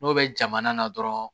N'o bɛ jamana na dɔrɔn